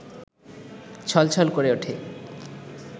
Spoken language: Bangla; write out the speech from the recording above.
ছলছল করে ওঠে